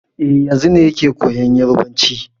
E, yanzun ne yake koyan Yarbanci.